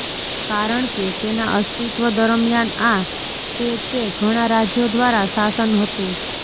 કારણ કે તેના અસ્તિત્વ દરમિયાન આ તે તે ઘણા રાજ્યો દ્વારા શાસન હતું